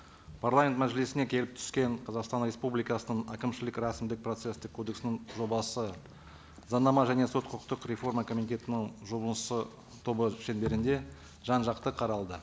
парламент мәжілісіне келіп түскен қазақстан республикасының әкімшілік рәсімдік процесстік кодексінің жобасы заңнама және сот құқықтық реформа комитетінің жұмысы тобы шеңберінде жан жақты қаралды